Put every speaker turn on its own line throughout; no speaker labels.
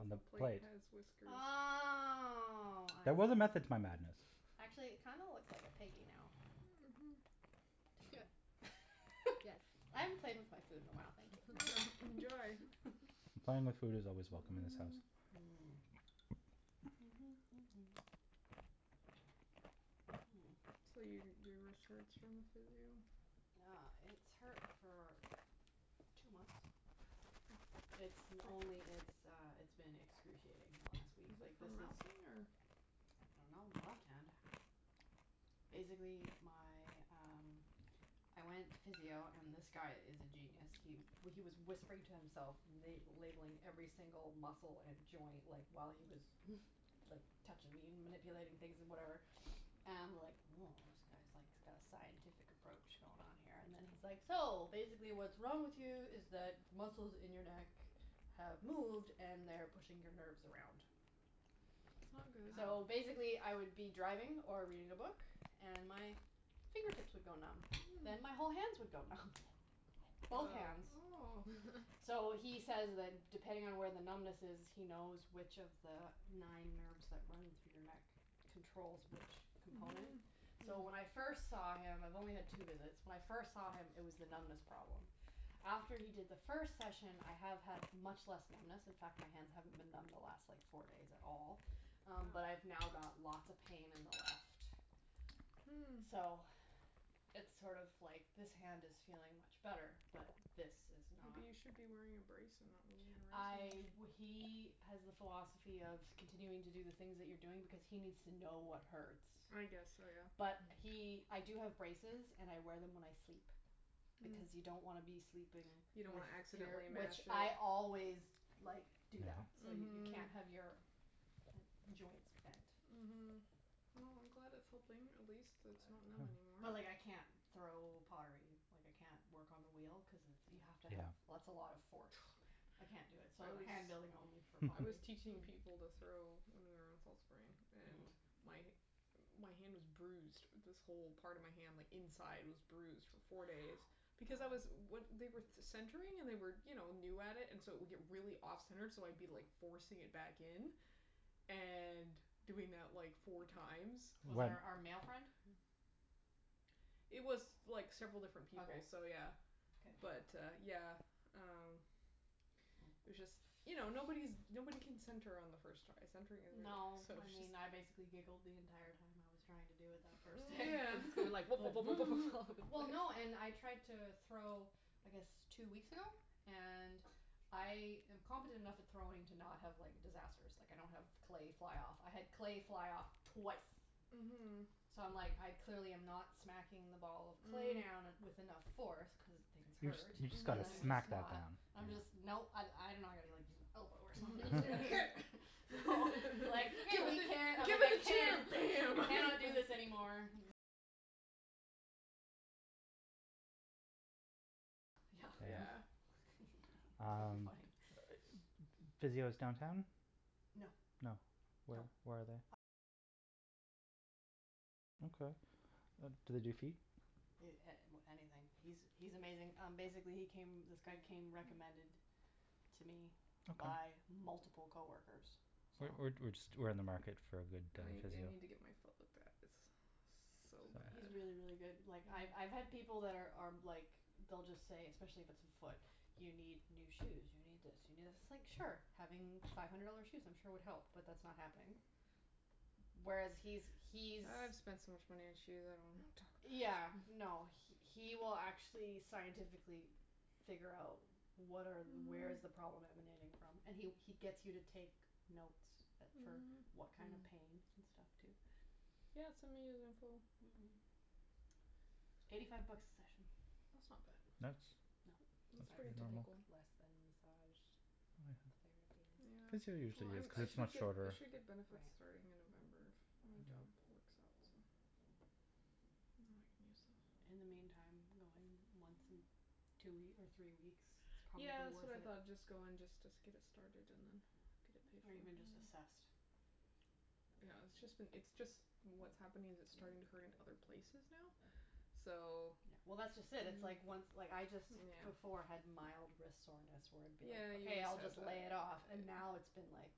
on the
plate
plate.
has whiskers.
Oh, I
There was a
see.
method to my madness.
Actually, it kind of looks like a piggy now.
Mhm, yeah.
Yes, I haven't played with my food in a while, thank you.
Enjoy.
Playing with food is always welcome in this house.
Mhm.
So, your your wrist hurts from the physio.
Yeah, it's hurt for two months. It's only it's uh, it's been excruciating the last week.
Is it from ralphing or?
I don't know. My left hand. Basically, my, um, I went to physio, and this guy is a genius. He he was whispering to himself, la- labelling every single muscle and joint, like, while he was like touching me and manipulating things and whatever and I'm like woah, this guy's like got a scientific approach going on here. And then he's like, so, basically what's wrong with you is that muscles in your neck have moved and they're pushing your nerves around.
That's not good.
So basically, I would be driving or reading a book and my fingertips would go numb, then my whole hands would go numb. Both hands.
Oh.
So he says that depending on where the numbness is, he knows which of the nine nerves that run through your neck controls which component.
Mhm.
So when I first saw him. I've only had two visits. When I first saw him, it was the numbness problem. After he did the first session, I have had much less numbness. In fact, my hands haven't been numb the last like four days at all, but I've now got lots of pain in the left.
Hm.
So it's sort of like this hand is feeling much better, but this is not.
Maybe you should be wearing a brace and not moving it around
I
too much.
he has the philosophy of continuing to do the things that you're doing because he needs to know what hurts.
I guess so, yeah.
But he I do have braces and I wear them when I sleep. Because you don't want to be sleeping
You
if
don't want to
you're.
accidentally mash
Which I
it.
always like do that so, you can't have your joints bent.
Mhm. Well, I'm glad it's helping. At least it's not numb anymore.
But but like I can't throw pottery, like I can't work on the wheel cuz you have to have- That's a lot of force.
Oh,
I
yeah.
can't do it, so hand building only for
I was
pottery.
teaching people to throw, when we were on Fall Spring, and my hand was bruised. This whole part of my hand like inside was bruised for four days because I was- They were centering and they were you know new at it and so it would get really off center, so I'd be like forcing it back in and doing that like four times.
Was it our our male friend?
It was like several different people, so
Okay.
yeah.
Okay.
But uh yeah, um, it was just, you know, nobody's nobody can center on the first try. Centring is
No.
so
I mean, I basically
just.
giggled the entire time I was trying to do it that first day.
Yeah.
Like Well, no, and I tried to throw I guess two weeks ago. And I am competent enough at throwing to not have like disasters. Like, I don't have clay fly off. I had clay fly off twice.
Mhm.
So I'm like I clearly am not smacking the ball of clay down with enough force cuz things
You just
hurt.
you just got to smack that down.
I'm just no. I- I don't know I gotta like use my elbow or something. Here.
Give it the
I
chair!
can't
Bam!
I cannot do this anymore.
Yeah. Um,
Funny.
physio's downtown?
No.
No? Where where are they? Okay. Do they do feet?
A- Anything. He's he's amazing. Um basically, he came, this guy came recommended to me by multiple coworkers, so.
We're we're we're just we're in the market for a good guy
I
for
I
physio.
need to get my foot looked at. It's so bad.
He's really, really good. Like, I've I've had people that are are like they'll just say, especially if it's a foot, you need new shoes, you need this, you need this. It's like, sure, having five hundred dollar shoes I'm sure would help, but that's not happening. Whereas he's he's.
I've spent so much money on shoes. I don't want to talk about
Yeah,
it.
no, he will actually scientifically figure out what are where is the problem emanating from. And he he gets you to take notes for what kind of pain and stuff, too.
Yeah, send me his info.
Eighty five bucks a session.
That's not
That's
bad. That's
that's
pretty
pretty
That's like
normal.
typical.
less than massage therapy.
Yeah,
Physio
well,
usually is
I'm
cuz
I
it's
should
much
I
shorter.
should get benefits starting in November, if my job works out, so. Then I can use those.
In the meantime, I'm going once in two or three weeks is probably
Yeah, that's
worth
what I
it.
thought. Just go and just get it started and then get it paid
Or
for.
even just assessed.
Yeah, it's just been it's just what's happening is, it's starting to hurt in other places now, so.
Yeah, well, that's just it. It's like once like I just before had mild wrist soreness where it would be
Yeah, you
okay, I'll
said
just lay
that.
it off. And now it's been like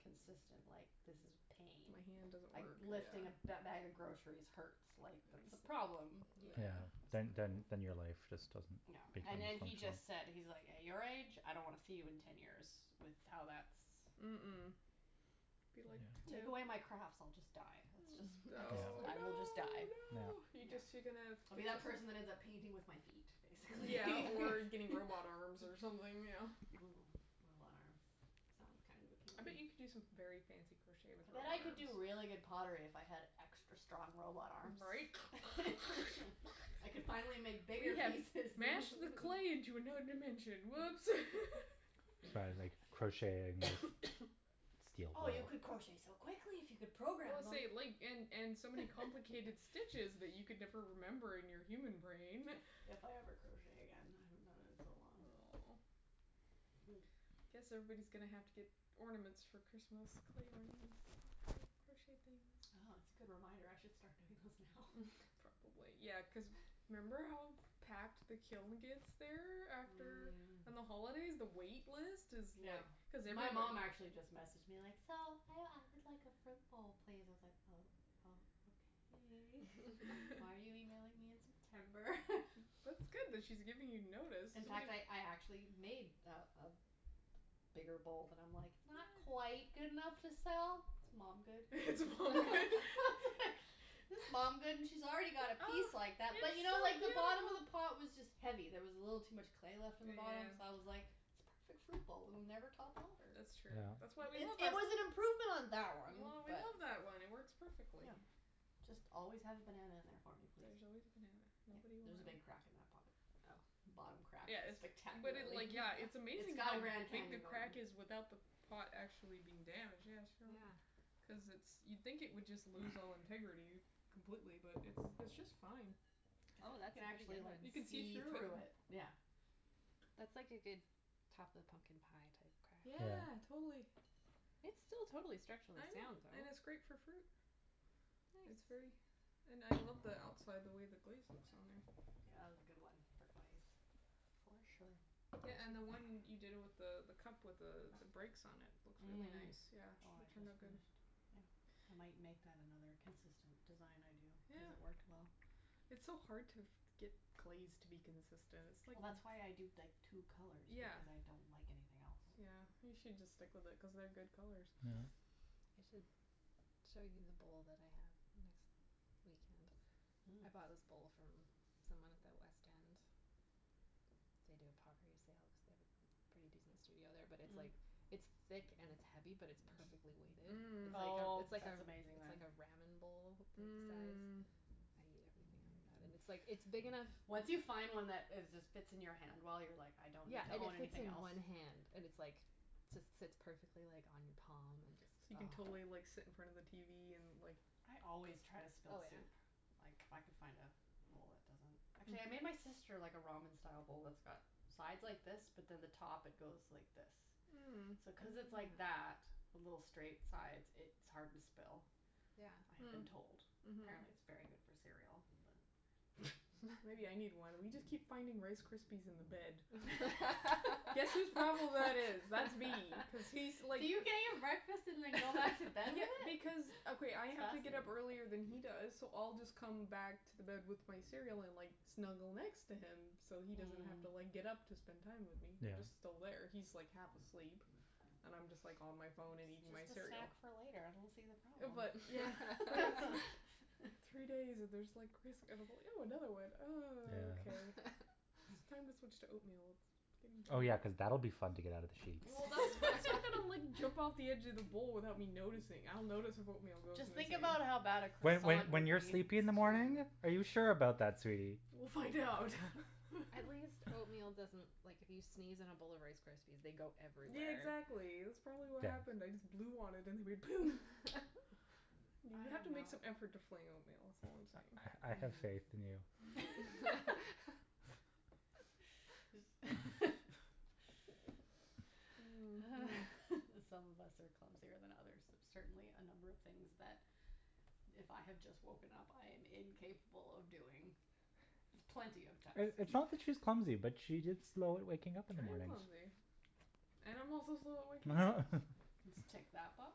consistent like this is pain.
My hand doesn't
Like,
work,
lifting a
yeah.
bag of groceries hurts. Like, that's a problem.
Yeah,
Yeah, that's
then then then your life
awful.
just doesn't
No,
become
and and he
functional.
just said, he's like, at your age, I don't want to see you in ten years with how that's.
Mm- mm. Be
Take away my
like,
crafts, I'll just
no!
die. That's just
Oh, no,
I will just
no,
die.
no. You
No,
just you're gonna.
I'll be that person that ends up painting with my feet, basically.
Yeah, or getting robot arms or something, you know.
Robot arms. Sounds kind of
I bet
appealing.
you could do some very fancy crochet with
I
robot
bet I could
arms.
do really good pottery if I had extra strong robot arms.
Right?
I could finally make bigger
We have
pieces.
mashed the clay into another dimension. Whoops.
Or crocheting.
Oh, you could crochet so quickly if you could
Well,
program them.
say, like, and and so many complicated stitches that you could never remember in your human brain.
If I ever crochet again. I haven't done it in so long.
Oh. I guess everybody's going to have to get ornaments for Christmas, clay ornaments, instead of crocheted things.
Oh, that's a good reminder. I should start doing those now.
Probably. Yeah, cuz remember how packed the kiln gets there after? On the holidays, the wait list is
Yeah.
like.
My mom actually just messaged me, like, so, I would like a fruit bowl, please. I was like oh, oh, okay. Why are you emailing me in September?
That's good that she's giving you notice.
In fact, I I actually made a a bigger bowl. And I'm like it's not quite good enough to sell, it's mom good.
It's mom good.
It's mom good, and she's already got a piece like that, but you know like the bottom of the pot was just heavy. There was a little too much clay left in the bottom, so I was like it's a perfect fruit bowl, it will never topple over.
That's true. That's why we love our.
It was an improvement on that one.
We
But.
love that one, it works perfectly.
Just always have a banana in there for me,
There's
please.
always a banana. Nobody will.
There's a big crack in that pot.
Oh.
The bottom crack is
Yes but
spectacular.
it, like, yeah. It's
It's
amazing
got a
how
Grand
big the
Canyon going.
crack is without the pot actually being damaged. Yeah, show her.
Yeah.
Cuz it's you'd think it would just lose all integrity completely, but it it's just fine.
Oh, that's a
You can
pretty
actually
good one.
like
You can see
see
through it.
through it, yeah.
That's like a good top of the pumpkin pie type crack.
Yeah, totally.
It's still totally structurally
I know,
sound, though.
and it's great for fruit. It's very.
Nice.
And I love the outside, the way the glaze looks on there.
Yeah, that was a good one for glaze.
For sure.
Yeah, and the one you did with the the cup with the the breaks on it, it looks really nice,
The
yeah.,
one
it
I
turned out
just
good.
finished.
Yeah.
I might make that another consistent design I do
Yeah.
cuz it worked well.
It's so hard to get glaze to be consistent, it's like.
Well, that's why I do, like, two colours
Yeah.
because I don't like anything else.
Yeah, you should just stick with it cuz they're good colours.
Yeah.
I should show you the bowl that I have next weekend. I bought this bowl from someone at the west end. They do a pottery sale cuz they have a pretty decent studio there, but it it's like it's thick and it's heavy, but it's perfectly weighted. It's like,
Oh,
it's like,
that's amazing,
it's
then.
like a ramen bowl size.
Mm.
I eat everything out of that. And it's like it's big enough.
Once you find one that is just fits in your hand well, you're like I don't need
Yeah,
to
and it
own
fits
anything
in
else.
one hand and it's like just sits perfectly like on your palm and just.
So you can totally like sit in front of the tv and like.
I always try to
Oh
spill
yeah.
soup. If I could find a bowl that doesn't. Actually, I made my sister like a ramen style bowl that's got sides like this, but then the top it goes like this.
Mm.
So cuz it's like that with little straight sides, it's hard to spill, I have been told.
Yeah.
Apparently, it's really good for
Mm.
cereal. But.
Mhm. Maybe I need one. We just keep finding Rice Krispies in the bed. Guess whose problem that is? That's me cuz he's like.
Do you get your breakfast and then go back to bed with
Yeah,
it?
because,
That's
okay. I have to get up earlier
fascinating.
than he does, so I'll just come back to the bed with my cereal and like snuggle next to him so he doesn't have to like get up to spend time with me. He's
Yeah.
just still there. He's like half asleep and I'm just like on my phone and eating my
It's just a
cereal.
snack for later. I don't see the problem.
But.
Yeah.
But it's like three days and there's like crisp. And I go, ew another one, and
Yeah.
okay. It's time to switch to oatmeal.
Oh, yeah, cuz that'll be fun to get out of the sheets.
Well, that's that's not going to like jump off of the edge of the bowl without me noticing. I'll notice if oatmeal goes
Just think
missing.
about how bad a
When when
croissant
when
would
That's
you're
be.
sleepy in the morning?
true.
Are you sure about that, sweetie?
We'll find out.
At least oatmeal doesn't, like, if you sneeze in a bowl of Rice Krispies, they go
Yeah,
everywhere.
exactly. That's probably what happened. I just blew on it and it went poom! You have to make some effort to fling oatmeal, that's all I'm saying.
I have faith in you.
Mm.
Some of us are clumsier than others. There's certainly a number of things that if I have just woken up, I am incapable of doing with plenty of time.
It's not that she's clumsy, but she's just slow at waking up in the
I am
mornings.
clumsy. And I'm also slow at waking up.
Just tick that box,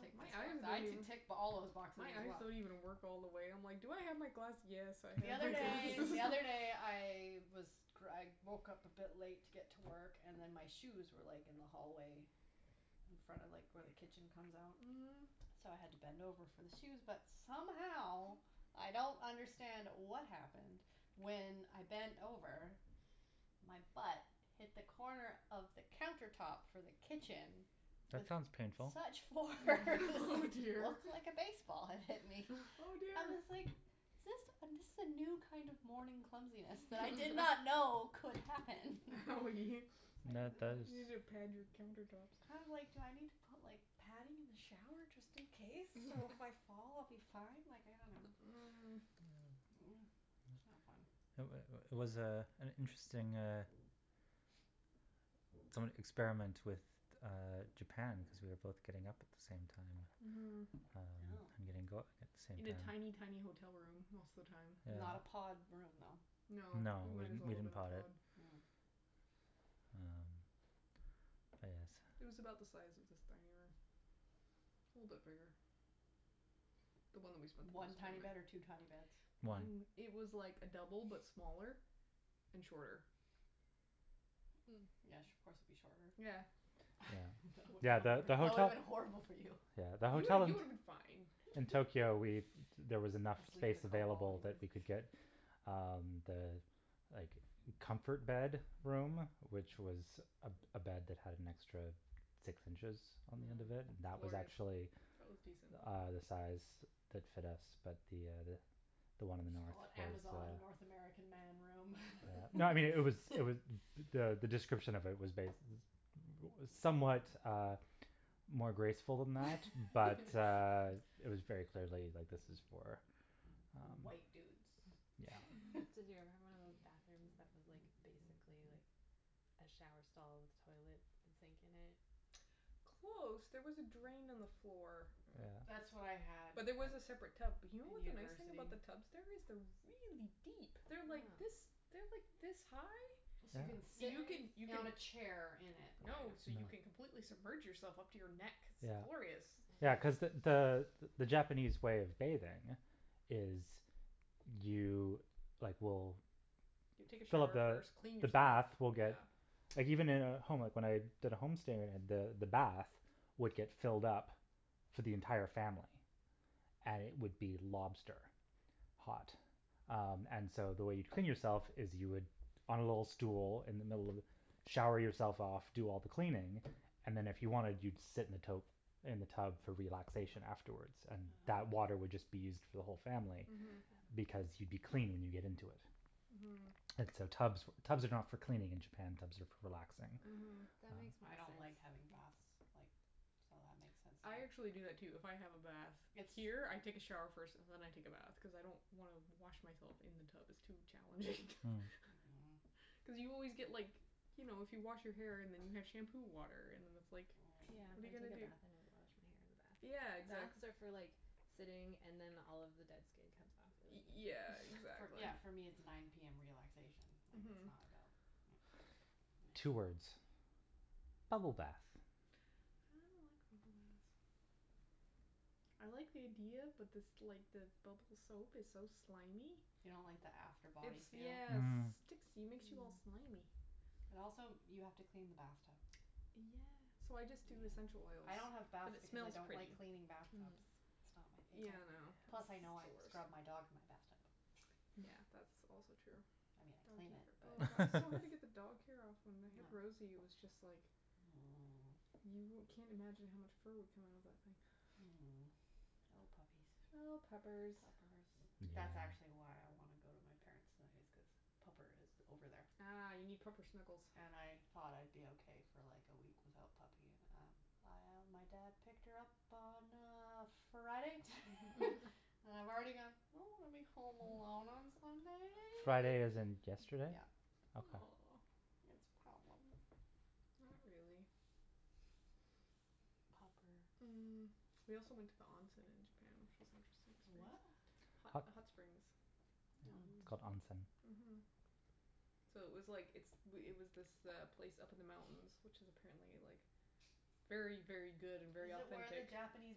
tick
My
this
eyes
one. I
don't even.
could tick all those boxes
My
as
eyes
well.
don't even work all the way. I'm like, do I have my glass? Yes, I
The
have
other
my
day,
glasses.
the other day I was I woke up a bit late to get to work and then my shoes were like in the hallway in front of like where the kitchen comes out.
Mm.
So I had to bend over for the shoes, but somehow I don't understand what happened. When I bent over, my butt hit the corner of the counter top for the kitchen.
That
With
sounds painful.
such force.
Oh,
It
dear.
looked like a baseball had hit me.
Oh,
I
dear.
was like is this, this is a new kind of morning clumsiness that I did not know could happen.
Oh.
That
You,
that
you need
is.
to pad your counter tops.
I'm like, do I need to put like padding in the shower just in case, so if I fall I'll be fine? Like, I don't know.
Mm. That's not fun.
It was was, uh, an interesting uh experiment with Japan because we were both getting up at the same time
Mhm.
and
Oh.
going out at the same
In a tiny,
time.
tiny hotel room most of the time.
Not a
Yeah.
pod room, though?
No,
No,
it
it was
might as well
bigger
have
than a
been a
pod.
pod.
Well, I guess.
It was about the size of this dining room. A little bit bigger. The one that we spent the
One
most time
tiny bed or
in.
two tiny beds?
One.
It was like a double but smaller and shorter.
Mm. Yes, of course it would be shorter.
Yeah.
Yeah, yeah, the
That would have
hotel.
been horrible for you.
Yeah, the
You
hotel
you
in
would have been fine.
in Tokyo, we there was enough
I sleep in a
space
curled ball
available that
anyway.
we could get um the like comfort bed room, which was a a bed that had an extra six inches on the end of it, that was
Glorious.
actually
That was decent.
uh the size that fit us, but the the one
Just call it the Amazon North American Man room.
No, I mean, it was, it was the the description of it was bas- it was somewhat more graceful than that, but it was very clearly, like, this is for
White dudes
Um,
Did you ever have
yeah.
one of those bathrooms that was like basically like a shower stall with toilet and sink in it?
Close. There was a drain on the floor.
That's what I
Yeah.
had
But there was a separate tub. But you know
in
what the nice thing
university.
about the tubs? There is they're really deep. They're like this,
Huh.
they're like this high.
you can
Yeah.
sit
You can, you
on
can.
a chair in it kind of
No, so you can
like
completely submerge yourself up to your neck. It's
Yeah.
glorious.
Yeah, cuz the the the Japanese way of bathing is you like will
You take a
Fill up
shower
the
first, clean
the
yourself,
bath will get
yeah.
Like, even in a home, like when I did a home stay the the bath would get filled up for the entire family. And it would be lobster hot. Um, and so, the way you'd clean yourself is you would on a little stool in the middle of the, shower yourself off, do all the cleaning and then, if you wanted, you'd sit in the tote, in the tub for relaxation afterwards. And that
Ah.
water would just be used for the whole family.
Mhm.
Because you'd be clean when you get into it.
Mhm.
And so so tubs for tubs are not for cleaning in Japan, tubs are for relaxing.
Mhm.
That makes more
I don't like having
sense.
baths, like, so that makes sense to
I actually do
me.
that, too. If I have a bath here, I take a shower first and then I take a bath cuz I don't wanna wash myself in the tub; it's too challenging.
Hm.
Mhm.
Cuz you always get, like, you know, if you wash your hair and then you have shampoo water and then it's like
Yeah, I
what are you gonna
take a
do?
bath and then wash my hair in the bath.
Yeah, exactly.
Baths are for like sitting and then all of the dead skin comes off
Y-
really easy.
yeah, exactly.
Yeah, for me it's nine PM. Relaxation. Like, it's
Mhm.
not about. Yeah.
Two words: bubble bath.
I don't like bubble baths. I like the idea, but this like the bubble soap is so slimy.
You don't like the after body
It's
feel?
yes it
Mm.
sticks, it makes you all slimy.
Mm.
And also, you have to clean the bath tub.
Yeah.
So I just do essential oils
Yeah, I don't have
because
baths
it
because I
smells
don't
pretty.
like cleaning bath
Mm.
tubs. It's not my
Yeah, I
favorite. Plus,
know,
I know
it's
I've
the
scrubbed my
worst.
dog in my bath tub.
Yeah, that's also true.
I mean, I clean it,
Oh,
but.
god, it's so hard to get the dog hair off. When we had Rosie, it was just like you wou- can't imagine how much fur would come out of that thing.
Oh, puppies.
Oh, puppers.
Puppers. That's actually
Yeah.
why I want to go to my parents' tonight is cuz pupper is over there.
Ah, you need proper snuggles.
And I thought I'd be okay for like a week without puppy and, um, my dad picked her up on, uh, Friday and I've already gone I don't want to be home alone on
Friday as
Sunday.
in yesterday?
Yeah.
Okay.
Aw.
It's a problem.
Not really.
Popper.
Mm. We also went to the onsen in Japan, which was interesting
To what?
experience. Hot
Hot.
hot springs.
It's
Mm.
called onsen.
Mhm. So it was like it's it was this place up in the mountains, which is apparently like very, very good and very
Is it where the
authentic.
Japanese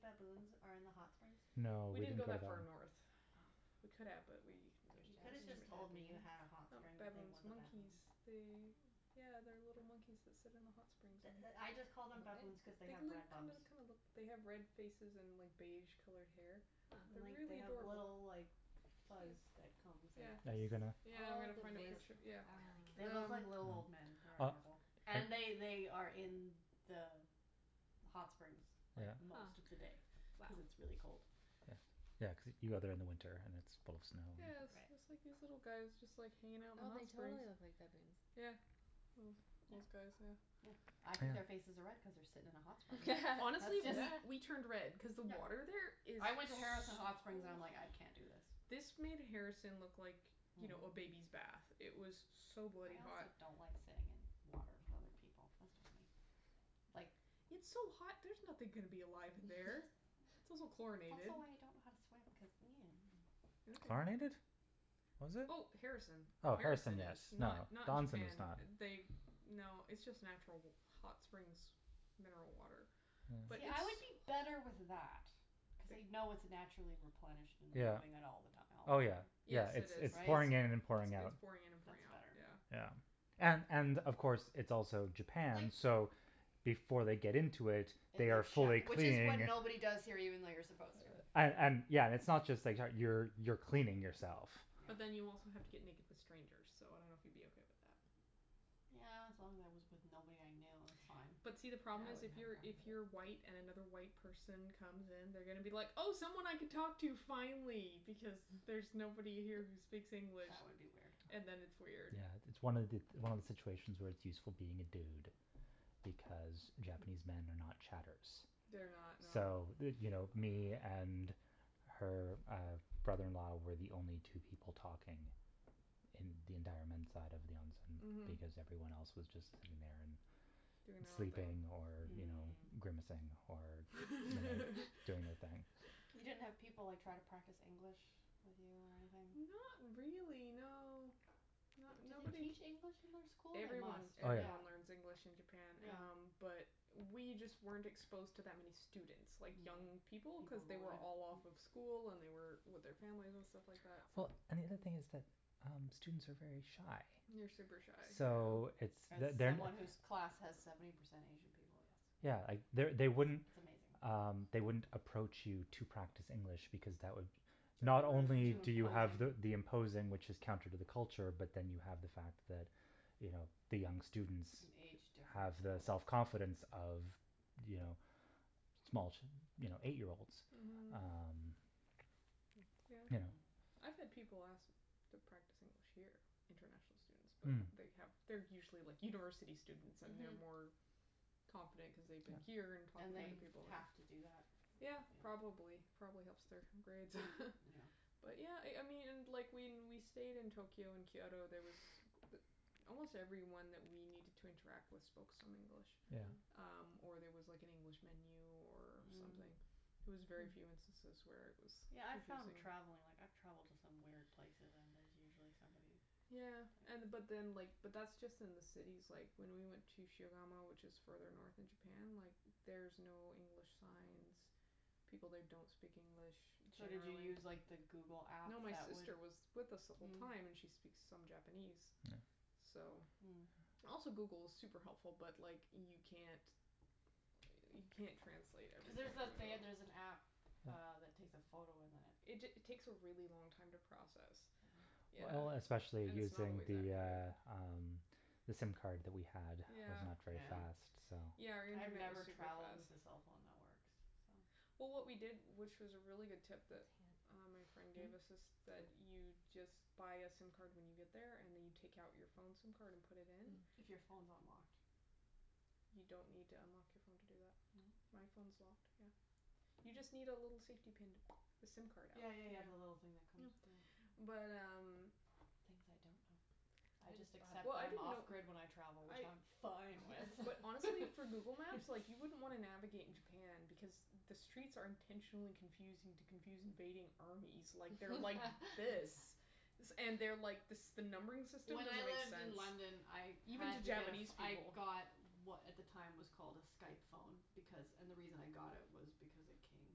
baboons are in the hot springs?
No, we
We didn't
didn't
go
go
that far
there.
north.
Oh.
We could have but we just
There's
You could have
Japanese
just told me you
baboons?
had a hot
Um,
spring things
baboons,
with
monkeys.
baboons.
They
Oh.
Yeah, they're little monkeys that sit in the hot springs
The
and
the I just called them baboons cuz they
They've
have red
look
bums.
kinda kinda look, they have red faces and like beige colored hair.
Huh.
And
They're
like, they
really
have
adorable.
little, like, fuzz
Cute.
that comes like this.
Are you gonna?
Yeah, I'm going to find a picture, yeah.
They look
um
like little old men. They
Ah.
are adorable. And they they are in the hot springs like
Yeah.
most of the day
Huh.
cuz it's really cold.
Yeah, yeah cuz you go there in the winter and it's full snow.
Yeah, it's it's like these little guys just like hanging out in the
Oh,
hot
they
springs.
totally look like baboons.
Yeah. Well, these guys, yeah.
Yeah. I think their faces are red
Yeah.
cuz they're sitting in a hot spring. That's
Honestly,
just.
we we turned red
Yeah.
cuz the
Yeah.
water there is
I went to
so
Harrison
hot.
Hot Springs and I'm like, "I can't do this".
This made Harrison look like, you
Mhm.
know, a baby's bath. It was so bloody
I
hot.
also don't like sitting in water with other people. That's just me. Like.
It's so hot; there's nothing gonna be alive in there. It's also
It's
chlorinated.
also why I don't know how to swim cuz
Okay.
Chlorinated? Was it?
Oh, Harrison.
Oh, Harrison
Harrison
yes.
is,
No,
not not
the onsen
Japan.
is not.
They, no, it's just natural hot springs mineral water. But
Yeah,
it's
I would be
Yes.
better with that cuz you know it's naturally replenished and
Yeah.
moving out all the time,
Oh, yeah,
right?
Yes,
yeah,
it
it's
is.
it's
It's it's
pouring in and pouring out.
pouring in and pouring
That's
out,
better.
yeah.
Yeah. And and, of course, it's also
Like.
Japan, so before they get into it,
That
they are
they've
fully
showered. Which is when
cleaning.
nobody does here even though you're supposed to.
And and, yeah. It's not just that how you you're cleaning yourself.
But then you also have to get naked with strangers, so I don't know if you'd be okay with that.
Yeah, as long as I was with nobody I knew, that's fine.
But see, the
I wouldn't have a
problem is, if you're, if you're
problem with it.
white and another white person comes in, they're going to be like, oh, someone I can talk to finally, because there's nobody here who speaks English.
That would be weird.
And then it's weird.
Yeah, it's one it's one of the situations where it's useful being a dude because Japanese men are not chatterers.
They're not,
So,
no.
you know, me and her uh brother in law were the only two people talking in the entire men's side of the
Mhm.
onsen. Because everyone else was just in there and
Doing their own thing.
sleeping or, you know,
Mm.
grimacing or or doing their thing.
You didn't have people like try to practice English with you or anything?
Not really, no.
Do they
Nobody
teach
k-
English in their school? They
Everyone,
must,
Oh, yeah.
yeah.
everyone learns English in Japan um
Yeah.
But we just weren't exposed to that many students, like young people, cuz they were all off of school and they were with their family and stuff like that, so.
Well, and the other thing is that uh students are very shy.
They're super shy,
So
yeah.
it's
As
they're they're not
someone whose class has seventy percent Asian people, yes.
Yeah, they
It's
they wouldn't
amazing.
Um, they wouldn't approach you to practice English because that would Not only
Too
do you have the
imposing.
imposing, which is counter to the culture, but then you have the fact that, you know, the young students
An age
have
difference and
the self
all that.
confidence of, you know, small, you know, eight year olds.
Mhm.
Um, you know
Yeah. I've had people ask to practice English here, international students, but
Hm.
they have they're usually, like, university students and they're
Mhm.
more confident cuz they've been here and talk
And
with
they
other people.
have to do that.
Yeah,
Yeah.
probably. It probably helps their grades
Yeah.
But yeah, I I mean, and like, when we stayed in Tokyo and Kyoto, there was almost everyone that we needed to interact with spoke some English.
Yeah.
Um, or there was like an
Mm.
English menu or something.
Mm.
It was very few instances where it was
Yeah, I found
confusing.
travelling, like, I've travelled to some weird places and there's usually somebody
Yeah, and but
that.
then, like, but that's just in the cities. Like, when we went to Shigamo, which is further north in Japan, like, there's no English signs. People there don't speak English
So did you
generally.
use, like the Google app
No, my
that would
sister was with us the whole
Mm.
time, and she speaks some Japanese,
Yeah.
so.
Mm.
Also, Google is super helpful, but like, you can't you can't translate
Cuz there's
everything on
that
the
they there's
go.
an app uh that takes a photo and then it
It ta- takes a really long time to process.
Yeah.
Yeah.
Well, especially
And it's not
using
always
the,
accurate.
uh, um, the sim card that we had was not very
Yeah.
Yeah.
fast, so
Yeah, our
I've
internet was
never
super
travelled
fast.
with the cell phone networks, so.
Well, what we did, which is a really good tip that uh my friend gave
Mm?
us is that you just but a sim card when you get there and then you take out your phone sim card and put it in.
If your phone's unlocked.
You don't need to unlock your phone to do that.
Mm?
My phone's locked, yeah. You just need a
Hm.
little safety pin to the sim card out.
Yeah, yeah, yeah, the little thing that comes. Yeah.
Yeah. But um
Things I don't know. I just accept
Well, I
that I'm
didn't
off
know.
grid when I travel,
I
which I'm fine with.
But honestly, for Google Maps, like, you wouldn't wanna navigate in Japan because the streets are intentionally confusing to confuse invading armies. Like, they're like this. And they're like, this the numbering system
When I
doesn't make
lived
sense.
in London I
Even to
had to get,
Japanese
I
people.
got what at the time was called a Skype phone because, and the reason I got it was because it came